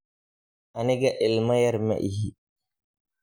Aniga ilma yar maixi.